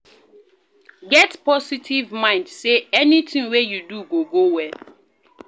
Get positive mind sey anything wey you do go go well